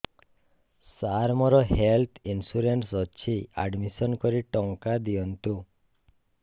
ସାର ମୋର health insurance ଅଛି admission କରି ଟଙ୍କା ଦିଅନ୍ତୁ